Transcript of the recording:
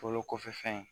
Bolo kɔfɛ fɛn